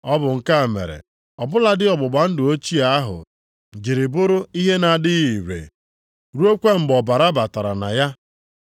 Ọ bụ nke a mere ọ bụladị ọgbụgba ndụ ochie ahụ jiri bụrụ ihe na-adịghị ire ruokwa mgbe ọbara batara na ya.